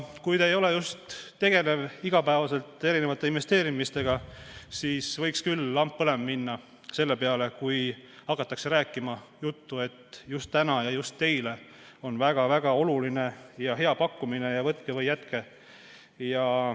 Kui te just igapäevaselt investeerimisega ei tegele, siis võiks küll lamp põlema minna selle peale, kui hakatakse rääkima juttu, et just täna ja just teile on neil väga oluline ja hea pakkumine, võtke või jätke.